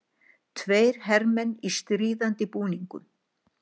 Tveir hermenn í stríðandi búningum.